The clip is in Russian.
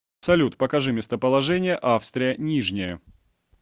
салют покажи местоположение австрия нижняя